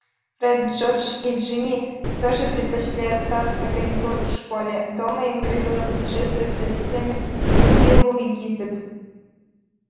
фред джордж и джинни тоже предпочли остаться на каникулах в школе дома им грозило путешествие с родителями к биллу в египет